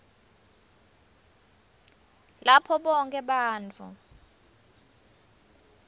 lapho bonkhe bantfu